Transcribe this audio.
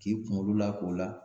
K'i kunkolo lak'o la